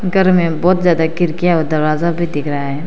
घर में बहोत ज्यादा खिड़कियां और दरवाजा भी दिख रहा है।